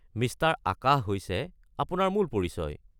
Mister Akash হৈছে আপোনাৰ মূল পৰিচয়।